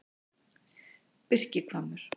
Birkihvammur